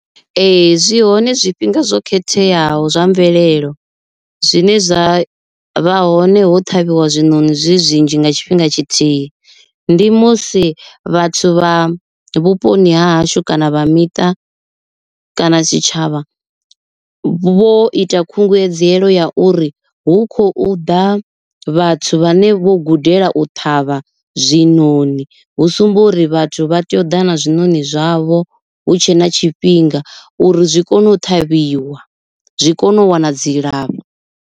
Ee zwi hone zwifhinga zwo khetheaho zwa mvelelo zwine zwa vha hone ho ṱhavhiwa zwiṋoni zwi zwinzhi nga tshifhinga tshithihi. Ndi musi vhathu vha vhuponi ha hashu kana vha miṱa kana tshitshavha vho ita khunguwedzelo ya uri hu khou ḓa vhathu vhane vho gudela u ṱhavha zwiṋoni, hu sumba uri vhathu vha tea u ḓa na zwiṋoni zwavho hu tshe na tshifhinga uri zwi kone u ṱhavhiwa zwi kone u wana dzilafho.